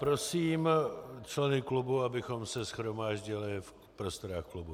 Prosím členy klubu, abychom se shromáždili v prostorách klubu.